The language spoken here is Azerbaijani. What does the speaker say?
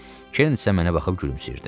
Kern isə mənə baxıb gülümsəyirdi.